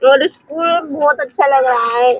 ये स्कूल बहोत अच्छा लग रहा है।